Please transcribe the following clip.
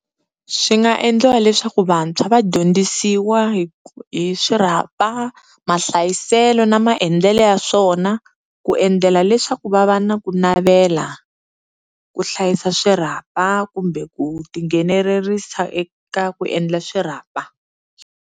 Swi nga endliwa leswaku vantshwa va dyondzisiwa hi hi swirhapa, mahlayiselo na maendlelo ya swona, ku endlela leswaku va va na ku navela ku hlayisa swirhapa kumbe ku tinghenelerisa eka ku endla swirhapa.